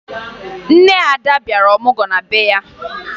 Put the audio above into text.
Nne Ada bịara ọmụgwọ na be ya